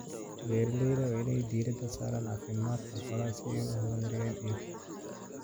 Beeralayda waa in ay diiradda saaraan caafimaadka xoolaha si ay u horumariyaan iibka.